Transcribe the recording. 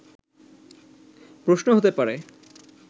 প্রশ্ন হতে পারে